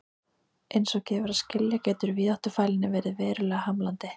Eins og gefur að skilja getur víðáttufælni verið verulega hamlandi.